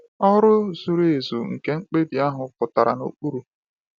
Ọrụ zuru ezu nke mkpebi ahụ pụtara n’okpuru.